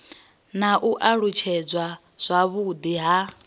na u alutshedzwa zwavhudi ha